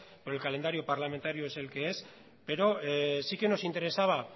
pero el calendario parlamentario es el que es pero sí que nos interesaba